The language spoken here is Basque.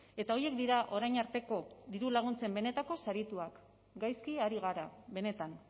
eta horiek dira orain arteko dirulaguntzen benetako sarituak gaizki ari gara benetan